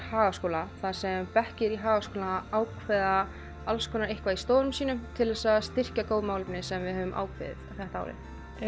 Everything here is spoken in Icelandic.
Hagaskóla þar sem bekkir í Hagaskóla ákveða alls konar eitthvað í stofunum sínum til þess að styrkja góð málefni sem við höfum ákveðið þetta árið